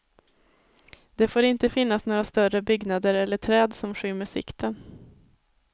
Det får inte finnas några större byggnader eller träd som skymmer sikten.